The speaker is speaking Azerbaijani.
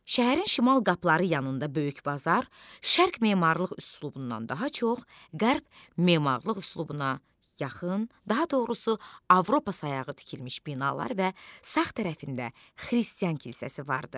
Şəhərin şimal qapıları yanında böyük bazar, şərq memarlıq üslubundan daha çox qərb memarlıq üslubuna yaxın, daha doğrusu Avropa sayağı tikilmiş binalar və sağ tərəfində xristian kilsəsi vardı.